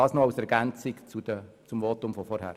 Dies nur als Ergänzung zu meinem Votum von vorhin.